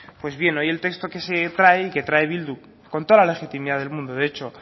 pues bien hoy el texto que se trae que trae bildu con toda la legitimidad del mundo de hecho